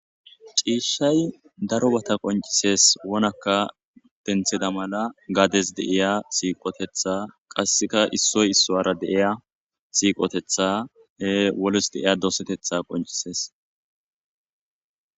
Ciishshay daro lo'etha qonccisees .wonakka dosida mala gaadize de'iya siiqoteththa qassika issoy issuwara de'iya siiqoteththa de'iya doseteththa qonccisees.